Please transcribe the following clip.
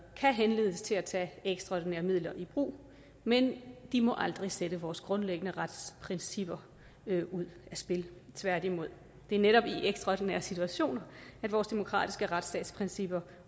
kan henledes til at tage ekstraordinære midler i brug men de må aldrig sætte vores grundlæggende retsprincipper ud af spil tværtimod det er netop i ekstraordinære situationer at vores demokratiske retsstatsprincipper